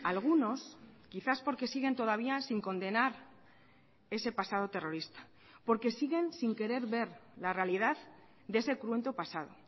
algunos quizás porque siguen todavía sin condenar ese pasado terrorista porque siguen sin querer ver la realidad de ese cruento pasado